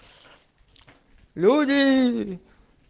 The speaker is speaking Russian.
люди